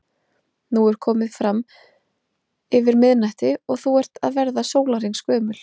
Nú er komið fram yfir miðnætti og þú ert að verða sólarhrings gömul.